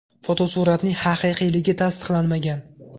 Fotosuratning haqiqiyligi tasdiqlanmagan.